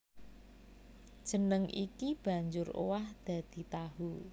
Jeneng iki banjur owah dadi tahu